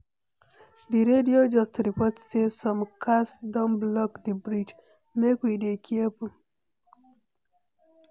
The radio just report sey some cars don block di bridge, make we dey careful.